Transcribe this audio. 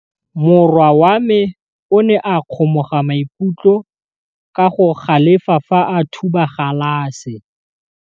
Morwa wa me o ne a kgomoga maikutlo ka go galefa fa a thuba galase.